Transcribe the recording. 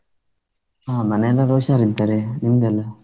ಹಾ ಮನೆಯೆಲೆಲ್ಲಾ ಹುಷಾರಿದ್ದಾರೆ ನಿಮ್ದೆಲ್ಲಾ?